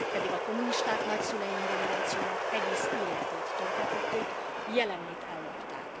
Pedig a kommunisták nagyszüleim generációjának egész életét tönkretették, jelenét ellopták.